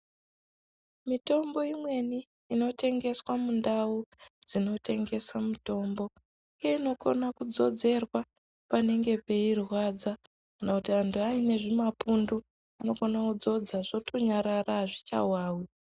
Mitombo imweni inotengeswa mundawu dzinotengeswa mitombo, inokona kudzodzerwa panenge peirwadza kana kuti anthu aine zvimapundu inokona kudzodza hazvchawawi.